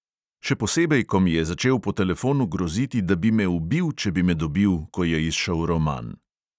"Še posebej, ko mi je začel po telefonu groziti, da bi me ubil, če bi me dobil, ko je izšel roman."